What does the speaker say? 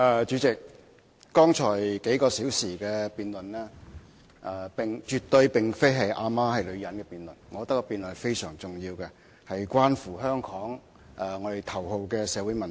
主席，剛才數小時絕對並非"阿媽是女人"的辯論，我覺得這辯論非常重要，關乎香港的頭號社會問題。